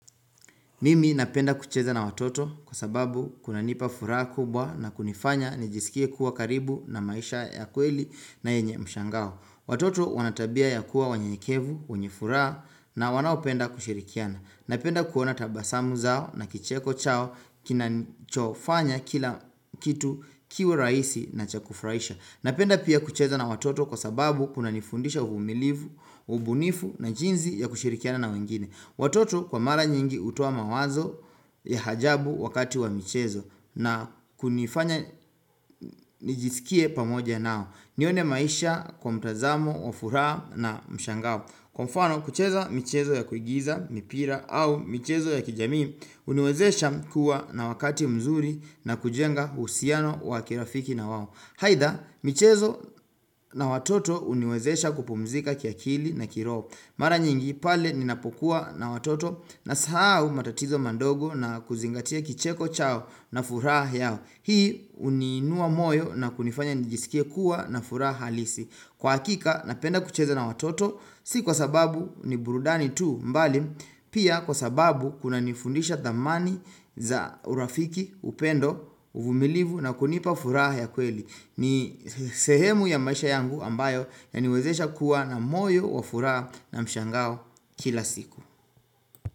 Mimi napenda kucheza na watoto kwa sababu kuna nipa fura kubwa na kunifanya nijisikie kuwa karibu na maisha ya kweli na yenye mshangao. Watoto wanatabia ya kuwa wanyenyekevu, wenyefuraha na wanaopenda kushirikiana. Napenda kuona tabasamu zao na kicheko chao kinachofanya kila kitu kiwe rahisi na chakufurahisha. Napenda pia kucheza na watoto kwa sababu kuna nifundisha uvumilivu, ubunifu na jinzi ya kushirikiana na wengine. Watoto kwa mara nyingi hutoa mawazo ya ajabu wakati wa michezo na kunifanya nijisikie pamoja nao. Nione maisha kwa mtazamo, wa furaha na mshangao. Kwa mfano, kucheza michezo ya kuingiza, mipira au michezo ya kijamii, huniwezesha kuwa na wakati mzuri na kujenga uhusiano wa kirafiki na wao. Haidha, michezo na watoto huniwezesha kupumzika kiakili na kiroho. Mara nyingi pale ninapokuwa na watoto na sahau matatizo madogo na kuzingatia kicheko chao na furaha yao Hii huniinua moyo na kunifanya nijisikie kuwa na furaha halisi Kwa hakika napenda kucheza na watoto si kwa sababu ni burudani tu mbali Pia kwa sababu kuna nifundisha thamani za urafiki upendo uvumilivu na kunipa furaha ya kweli ni sehemu ya maisha yangu ambayo ya niwezesha kuwa na moyo, wafuraha na mshangao kila siku.